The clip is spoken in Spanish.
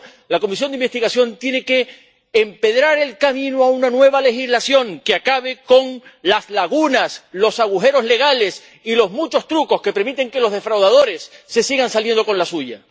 Por eso, la comisión de investigación tiene que empedrar el camino hacia una nueva legislación que acabe con las lagunas, los agujeros legales y los muchos trucos que permiten que los defraudadores se sigan saliendo con la suya.